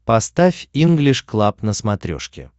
поставь инглиш клаб на смотрешке